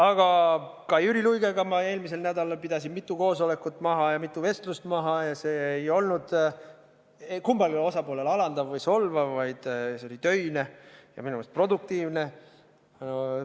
Aga Jüri Luigega ma eelmisel nädalal pidasin mitu koosolekut ja mitu vestlust maha ja see ei olnud kummalegi osapoolele alandav või solvav, vaid see oli töine ja minu meelest produktiivne.